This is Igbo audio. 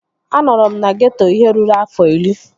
Anọrọ m na geeto ihe ruru afọ iri